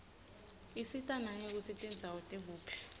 isita nangekutsi tindzawo tikuphi